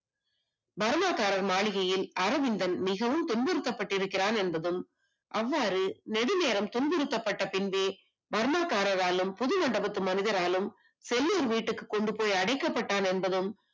Burma காரர் மாளிகையில் அரவிந்தன் மிகவும் துன்புறுத்தப்பட்டிருக்கிறான் என்பதும் அவ்வாறு நெடுநேரம் துன்புறுத்தப்பட்டதுக்கு பின்பே பர்மா காரனாலும் புது மண்டபத்து மனிதராலும் செல்லூர் வீட்டுக்கு கொண்டு போய் அடைக்கப்பட்டார் என்பதும்